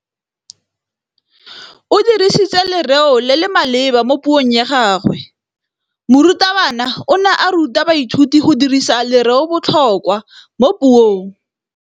O dirisitse lerêo le le maleba mo puông ya gagwe. Morutabana o ne a ruta baithuti go dirisa lêrêôbotlhôkwa mo puong.